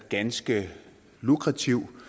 ganske lukrativ